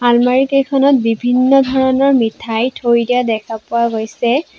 আলমাৰি কেইখনত বিভিন্ন ধৰণৰ মিঠাই থৈ দিয়া দেখা পোৱা গৈছে।